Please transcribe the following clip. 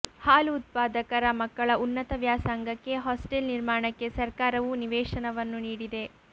ಹಾಲು ಉತ್ಪಾದಕರ ಮಕ್ಕಳ ಉನ್ನತ ವ್ಯಾಸಂಗಕ್ಕೆ ಹಾಸ್ಟೆಲ್ ನಿರ್ಮಾಣಕ್ಕೆ ಸರ್ಕಾರವು ನಿವೇಶನವನ್ನು ನೀಡಿದೆ